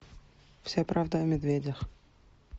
вся правда о медведях